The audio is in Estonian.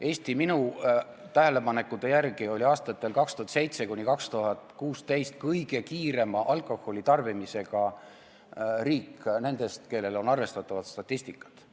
Eesti minu tähelepanekute järgi oli aastatel 2007–2016 kõige kiirema alkoholitarbimise vähenemisega riik nendest, kellel on arvestatavat statistikat.